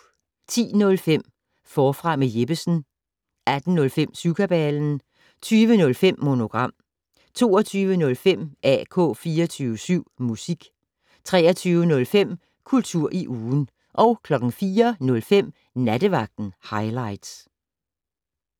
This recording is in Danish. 10:05: Forfra med Jeppesen 18:05: Syvkabalen 20:05: Monogram 22:05: AK 24syv Musik 23:05: Kultur i ugen 04:05: Nattevagten Highligts